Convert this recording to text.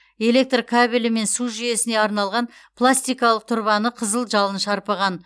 электр кабелі мен су жүйесіне арналған пластикалық тұрбаны қызы жалын шарпыған